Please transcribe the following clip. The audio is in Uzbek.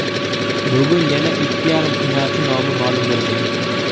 Bugun yana ikki yarim finalchi nomi ma’lum bo‘ladi.